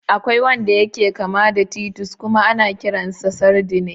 Akwai wanda yake kama da titus kuma ana kiransa sardine.